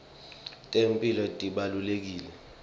temphilo tibalulekile